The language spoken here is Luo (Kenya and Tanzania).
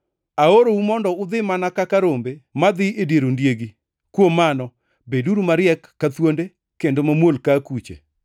Aorou mondo udhi mana kaka rombe madhi e dier ondiegi. Kuom mano, beduru mariek ka thuonde, kendo mamuol ka akuche.